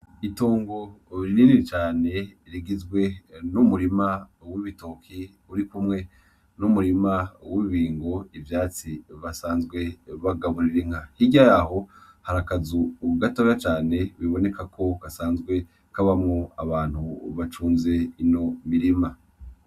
Itongo rinini cane rigizwe n'umurima w'ibitoke urikumwe n'umurima w'ibibingo, ivyatsi basanzwe bagaburira inka, hirya yaho hari akazu gatoya cane bibonekako gasanze kabamwo abantu bacunze ino mirima.